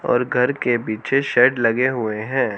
और घर के पीछे शेड लगे हुए हैं।